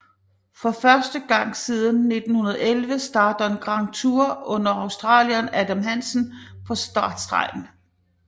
For første gang siden 2011 starter en Grand Tour uden australieren Adam Hansen på startstregen